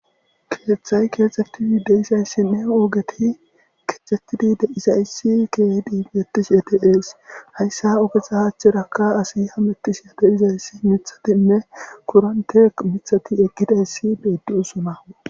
Keeththay keexxettiide isayssinne oogeti keexetidi deizayssi keedi bettish edeees hayssa ogetha haachcheraka asi hamettish edeizayssi mithatinne kurante mithati eqkidayssi beeddiyosona.